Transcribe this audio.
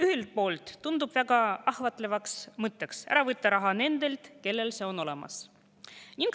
Ühelt poolt tundub väga ahvatleva mõttena võtta raha ära nendelt, kellel see on olemas.